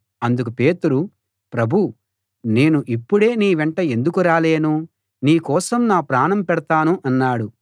అందుకు పేతురు ప్రభూ నేను ఇప్పుడే నీ వెంట ఎందుకు రాలేను నీకోసం నా ప్రాణం పెడతాను అన్నాడు